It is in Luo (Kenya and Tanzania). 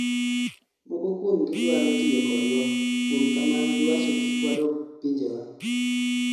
moko kuomgi dwaro tiyo kodwa, kuom kamano giwacho kik wadog pinjewa